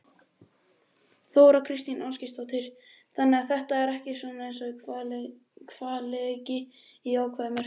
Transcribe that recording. Þóra Kristín Ásgeirsdóttir: Þannig að þetta er ekki svona hvalreki í jákvæðri merkingu?